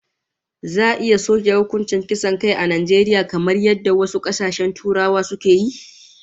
Za'a iya soke hukuncin kisan kai a Najeriya kamar yadda wasu kasashen Turawa suka yi?